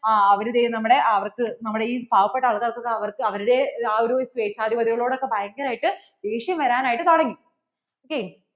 ആ അവർ ദേ നമ്മടെ അവർക്കു നമ്മടെ ഇ പാവപെട്ട അവർക്കു അവരുടെ ആ ഒരു സ്വേച്ഛാധിപതികളോടൊക്കെ ഭയങ്കര ആയിട്ട് ദേഷ്യം വരാൻ ആയിട്ട് തുടങ്ങി ok